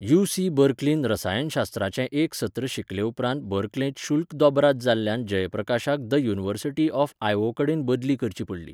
UC. बर्कलींत रसायनशास्त्राचें एक सत्र शिकलेउपरांत बर्कलेंत शुल्क दोबराद जाल्ल्यान जयप्रकाशाक द युनिव्हर्सिटी ऑफ आयओवाकडेन बदली करची पडली.